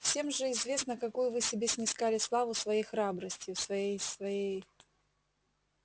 всем же известно какую вы себе снискали славу своей храбростью своей своей